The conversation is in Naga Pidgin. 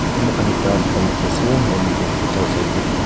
yate moikhan ekta dukan dikhi ase aru moikhan tu side side teh tu--